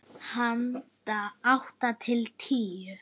Handa átta til tíu